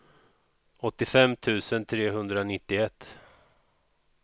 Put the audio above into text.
åttiofem tusen trehundranittioett